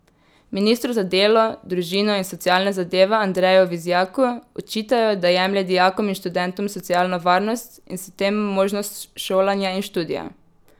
Ministru za delo, družino in socialne zadeve Andreju Vizjaku očitajo, da jemlje dijakom in študentom socialno varnost in s tem možnost šolanja in študija.